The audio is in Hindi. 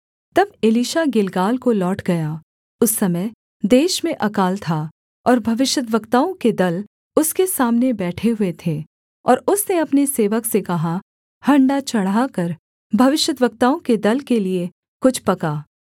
तब एलीशा गिलगाल को लौट गया उस समय देश में अकाल था और भविष्यद्वक्ताओं के दल उसके सामने बैठे हुए थे और उसने अपने सेवक से कहा हण्डा चढ़ाकर भविष्यद्वक्ताओं के दल के लिये कुछ पका